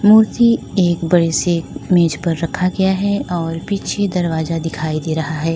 मूर्ति एक बड़े से मेज पर रखा गया है और पीछे दरवाजा दिखाई दे रहा है।